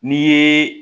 N'i ye